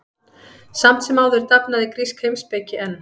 Samt sem áður dafnaði grísk heimspeki enn.